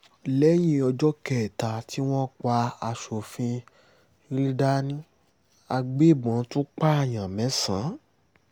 lẹ́yìn ọjọ́ kẹta tí wọ́n pa aṣòfin riladni àgbẹ̀bọ́n tún pààyàn mẹ́sàn